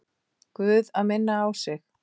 Guð að minna á sig.